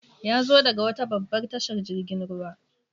Yazo daga wata babbar tashar jirgin ruwa.